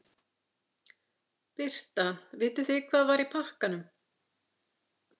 Birta: Vitið þið hvað var í pakkanum?